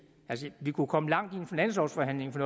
altså vi kunne komme langt i en finanslovsforhandling for